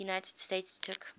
united states took